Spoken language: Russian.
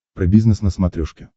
про бизнес на смотрешке